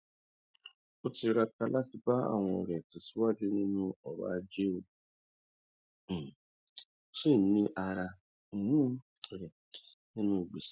ó tiraka láti bá àwọn ọrẹ rẹ tẹsíwájú nínú ọrọ ajé ó um sì ń rí ara um rẹ nínú gbèsè